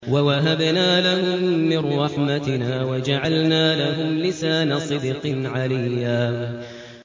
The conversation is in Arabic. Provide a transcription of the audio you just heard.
وَوَهَبْنَا لَهُم مِّن رَّحْمَتِنَا وَجَعَلْنَا لَهُمْ لِسَانَ صِدْقٍ عَلِيًّا